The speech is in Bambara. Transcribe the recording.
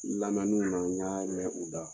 Lamɛnniw na n y'a mɛn u da.